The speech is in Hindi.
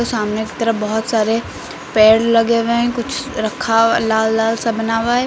सामने की तरफ बहुत सारे पेड़ लगे हुए हैं कुछ रखा हुआ लाल लाल सा बना हुआ है।